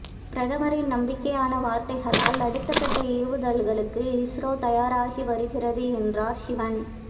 பிரதமரின் நம்பிக்கையான வார்த்தைகளால் அடுத்த கட்ட ஏவுதல்களுக்கு இஸ்ரோ தயாராகி வருகிறது என்றார் சிவன்